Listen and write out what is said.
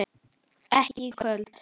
Ekki í kvöld.